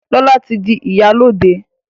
Lọla tí dì ìyálóde.